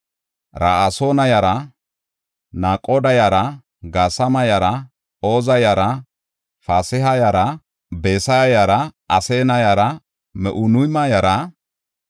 Haysati di7ope simmida Solomone oosanchota yarata; Soxaya yara, Sofeereta yara, Faruuda yara,